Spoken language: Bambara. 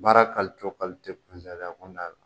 Baara kuntaala